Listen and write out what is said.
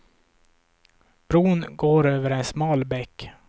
Bron går över en smal bäck.